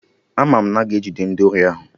Ama m na a ga-ejide ndị ori ahụ